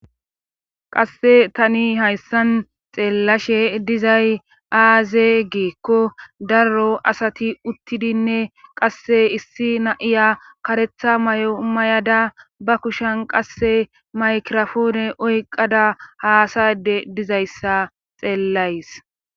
qasse tani hayssan xeellashe dizay aaze giikko daro asati uttidinne qasse issi na7iya karetha may7o may7ada ba kushen qasse maykrofoone oyqada haasade dizayssa xeellays